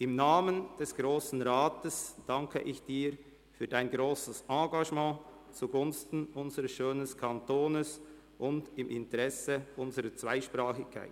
Im Namen des Grossen Rats danke ich Ihnen für Ihr grosses Engagement zugunsten unseres schönen Kantons und unserer Zweisprachigkeit.